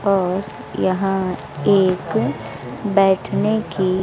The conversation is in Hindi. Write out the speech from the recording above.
और यहां एक बैठने की--